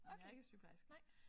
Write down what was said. Okay nej